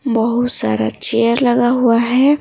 बहुत सारा चेयर लगा हुआ है।